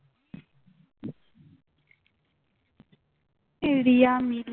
এই রিয়া আমি